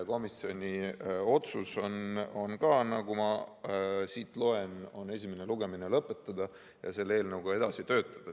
Komisjoni otsus on ka, nagu ma siit loen, esimene lugemine lõpetada ja selle eelnõuga edasi töötada.